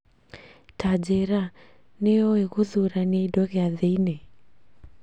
Tanjĩira, nĩ uũĩ gũthurania indo gĩathĩinĩ